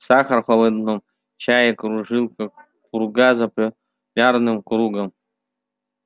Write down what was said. сахар в холодном чае кружил как пурга за полярным кругом